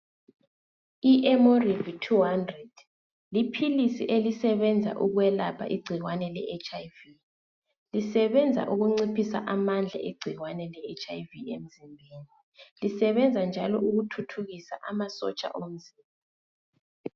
I-emorivi thu handred liphilisi elisebenza ukwelapha igcikwane le etshi ayi vi. Lisebenza ukunciphisa amandla egcikwane le etshi ayi vi emzimbeni. Lisebenza njalo ukuthuthukisa amasotsha omzimba.